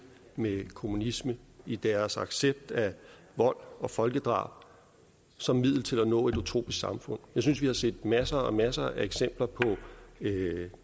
med kommunisme i deres accept af vold og folkedrab som middel til at nå et utopisk samfund jeg synes vi har set masser og masser af eksempler på